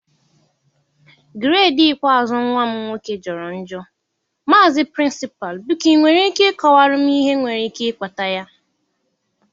gredii ikpeazụ nwa m nwoke jọrọ njọ, maazi prịnsịpalụ̀ biko ị nwere ike ịkọwara m ihe nwere ike ịkpata ya.